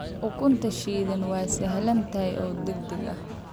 Ukunta shiilan waa sahlan tahay oo degdeg ah.